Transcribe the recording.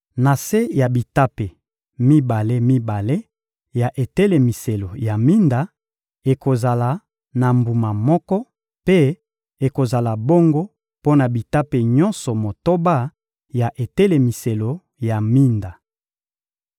Na se ya bitape mibale-mibale ya etelemiselo ya minda, ekozala na mbuma moko; mpe ekozala bongo mpo na bitape nyonso motoba ya etelemiselo ya minda.